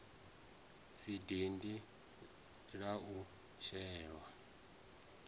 si dindi la u shelwa